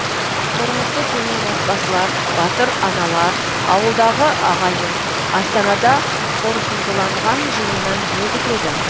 тұрмысы төмен отбасылар батыр аналар ауылдағы ағайын астанада қорытындыланған жиыннан не күтеді